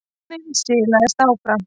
Vagninn silaðist áfram.